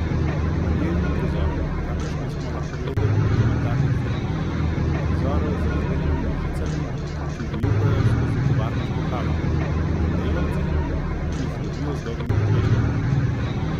V njej ni prizorov, kakršne smo lahko gledali v dokumentarnih filmih, prizorov z razbeljenimi žicami, ki vijugajo skozi tovarniško halo, in delavci, ki jih lovijo z dolgimi kleščami.